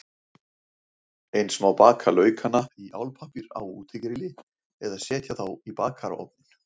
Eins má baka laukana í álpappír á útigrilli eða setja þá í bakarofninn.